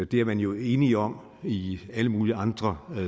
det er man jo enige om i alle mulige andre